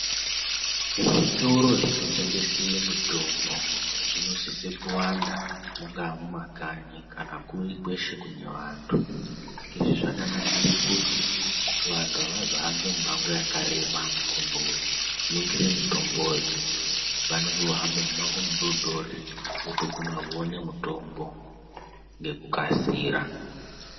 Zvitoro zvinotengese mitombo zvinosise kuwanda mungaa mumakanyi kana kuri kweshe kune vanthu. Izvi zvakanakire kuti vanthu avazohambi mimango yakareba kundoningire mitomboyo. Vanenge vohambe mumango midodori votoguma voone mutombo ngekukasira.